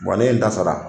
ne ye n ta sara